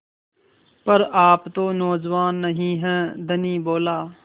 पर आप तो नौजवान नहीं हैं धनी बोला